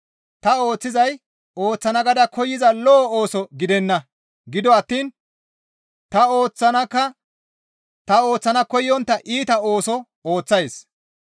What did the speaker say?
Ta ooththizay ooththana gaada koyza lo7o ooso gidenna; gido attiin ta ooththana koyontta iita ooso ooththays.